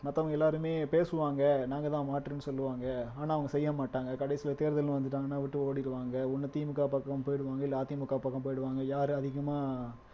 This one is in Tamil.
மத்தவங்க எல்லாருமே பேசுவாங்க நாங்க தான் மாற்றுன்னு சொல்லுவாங்க ஆனா அவங்க செய்ய மாட்டாங்க கடைசியில தேர்தல்ன்னு வந்துட்டாங்கன்னா விட்டு ஓடிடுவாங்க ஒண்ணு திமுக பக்கம் போயிடுவாங்க இல்லை அதிமுக பக்கம் போயிடுவாங்க யாரு அதிகமா